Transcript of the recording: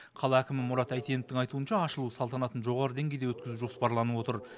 қала әкімі мұрат әйтеновтің айтуынша ашылу салтанатын жоғары деңгейде өткізу жоспарланып отыр